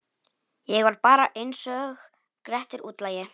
Ég var bara einsog Grettir útlagi.